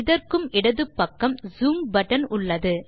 இதற்கும் இடது பக்கம் ஜூம் பட்டன் இருக்கிறது